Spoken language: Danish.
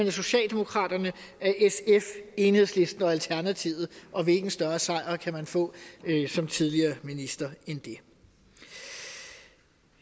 af socialdemokraterne sf enhedslisten og alternativet og hvilken større sejr kan man få som tidligere minister end det